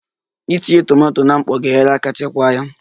Itinye tomato na mkpọ ga-enyere aka chekwaa ya